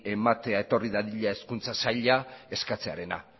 ematera etorri dadila hezkuntza saila eskatzearena